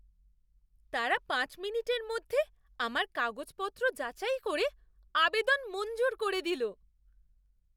তারা পাঁচ মিনিটের মধ্যে আমার কাগজপত্র যাচাই করে আবেদন মঞ্জুর করে দিলো।